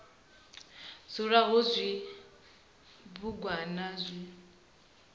dzula hu na zwibugwana zwi